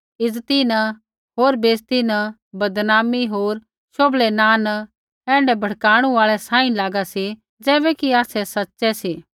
इज्ज़ती न होर बेइज़ती न बदनामी होर शोभलै नाँ न ऐण्ढै भड़काणु आल़ै सांही लागा सी ज़ैबैकि आसै सच़ै सी